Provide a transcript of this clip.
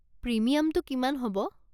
প্রিমিয়ামটো কিমান হ'ব?